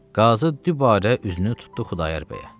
Qazı dübarə üzünü tutdu Xudayar bəyə.